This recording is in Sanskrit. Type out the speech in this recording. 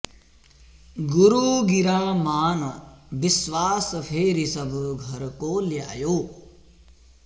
गुरु गिरा मान बिस्वास फेरि सब घर को ल्यायो